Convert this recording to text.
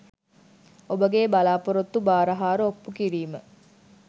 ඔබගේ බලාපොරොත්තු භාර හාර ඔප්පු කිරීම